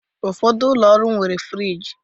Ụfọdụ ụlọ ọrụ nwere friji